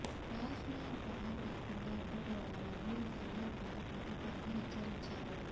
రాజ్ నాథ్ పాక్ రాకుండా అడ్డుకోవాలని సయ్యద్ పాక్ ప్రభుత్వాన్ని హెచ్చరించారు